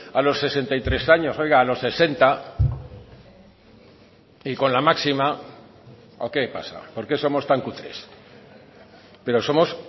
a los sesenta y tres años oiga a los sesenta y con la máxima o qué pasa por qué somos tan cutres pero somos